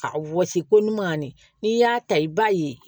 A wɔsi ko ɲuman ni y'a ta i b'a ye